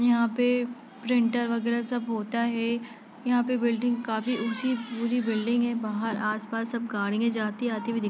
यहा पर प्रिंटर वगेरा सब होता है| यहा पर बिल्डिंग काफी ऊंची पूरी बिल्डिंग है| बाहर आसपास सब गाड़ियां आती जाती दिख--